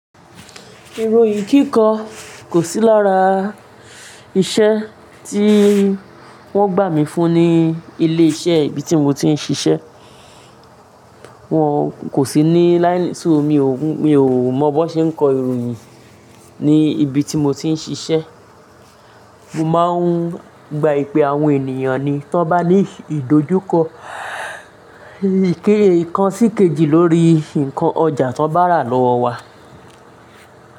Ìròyìn kíkọ kò sí lára iṣẹ́ tí wón gbà mí fún ní ilé iṣẹ́ ibi tí mo ti ń ṣiṣẹ́. Wọn kò sí ní láínì, sú mi ò, mi ò mọ bó ṣe ń kọ ìròyìn ní ibi tí mo ti ń ṣiṣẹ́. Mo máa ń gba ìpè àwọn ènìyàn ni tí wọ́n bá ní ìdojúkọ, ìkée ikan sí kejì lórí nǹkan ọjà tí wọ́n bá rà lọ́wọ́ wa.